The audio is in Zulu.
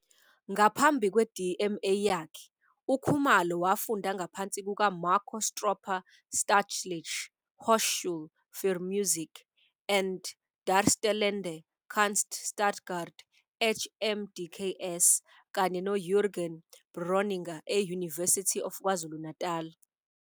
Ngaphambi kwe-DMA yakhe, uKhumalo wafunda ngaphansi kukaMarco Stroppa eStaatliche Hochschule für Musik und Darstellende Kunst Stuttgart, HMDKS, kanye noJürgen Bräuninger e- University of KwaZulu-Natal.